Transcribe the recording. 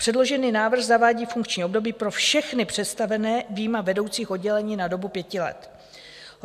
Předložený návrh zavádí funkční období pro všechny představené, vyjma vedoucích oddělení, na dobu pěti let.